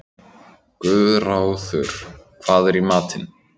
Guðráður, hvað er í matinn?